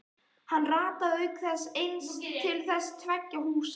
Hann rataði auk þess aðeins til þessara tveggja húsa.